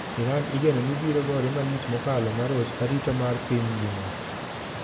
Iran igeno ni biro gore malich mokalo maroch arita mar piny ngima.